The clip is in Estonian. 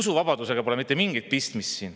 Usuvabadusega pole siin mitte mingit pistmist.